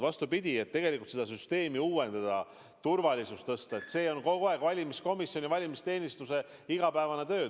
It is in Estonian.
Vastupidi, tegelikult tahetakse seda süsteemi uuendada, turvalisust tõsta – see on kogu aeg olnud valimiskomisjoni ja valimisteenistuse igapäevane töö.